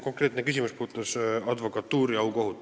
Konkreetne küsimus puudutas advokatuuri aukohut.